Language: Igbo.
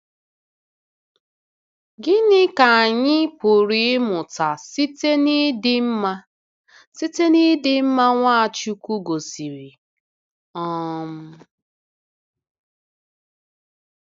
Gịnị ka anyị pụrụ ịmụta site n’ịdị mma site n’ịdị mma Nwachukwu gosiri? um